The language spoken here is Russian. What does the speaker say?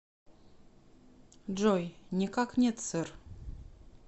джой никак нет сэр